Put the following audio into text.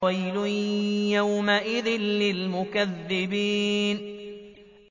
وَيْلٌ يَوْمَئِذٍ لِّلْمُكَذِّبِينَ